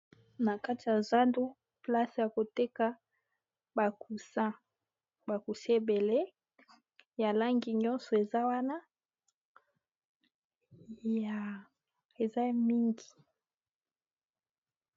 Na kati ya zando place ya koteka ba coussin ba coussin ebele ya langi nyonso eza wana eza ya mingi.